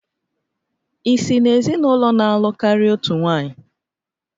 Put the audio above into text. Ị si n'ezinụlọ na-alụ karịa otu nwanyị?